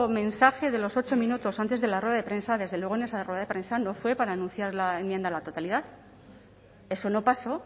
mensaje de los ocho minutos antes de la rueda de prensa desde luego esa rueda de prensa no fue para anunciar la enmienda a la totalidad eso no pasó